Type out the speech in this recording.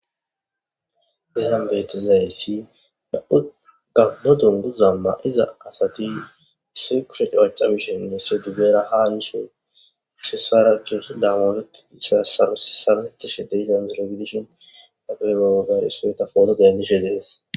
Izan betizaysi nam'u gamo dunguza mayida asati issoy cabacabishin issoy henira has yishin issi issara upaysan gaagishepoto dendishe de'es.